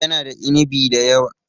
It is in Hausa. Yana da inibi da yawa.